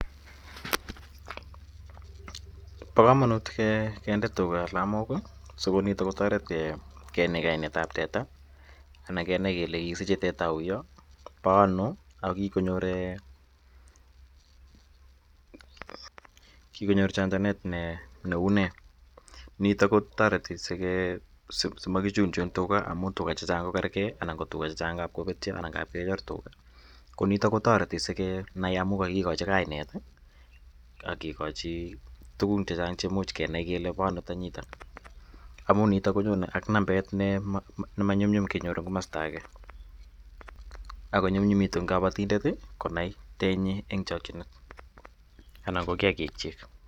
Pa kamanut kende tuga alamok si ko ni kotaret kenai kainet ap teta anan ke nai kele kikisiche teta auya, pa ano, ako kikonyor chanjanet neu nee. Nitok ko tareti si maki chunchun tuga amu tuga che chang' ko kergei anan ko tuga che chang' ngap kopetia anan keker tuga. Ko nitok ko tareti sike nai amu kakikachi kainet ak kikachi tugun che chang' che much kenai kele pa ano tanyitat amu nitok ko nyone ak nambet ne ui kenyor eng' komasta age, ako nyumnyumitu eng' kaptindet konai tennyi eng' chakchinet anan ko kiakikchik.